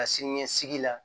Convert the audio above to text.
Ka siniɲɛsigi la